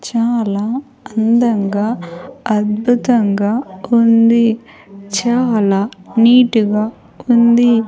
చాలా అందంగా అద్భుతంగా ఉంది చాలా నీటుగా ఉంది.